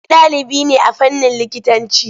Ni ɗalibi ne a fannin likitanci.